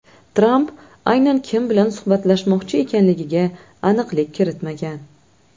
Tramp aynan kim bilan suhbatlashmoqchi ekanligiga aniqlik kiritmagan.